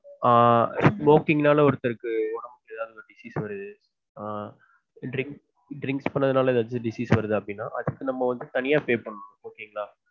ஆஹ் smoking நால ஒருத்தருக்கு உடம்பு முடியாம disease வருது ஆஹ் drink drink பண்றதுனால disease வருது அப்டினா தனியா pay பண்ணனும்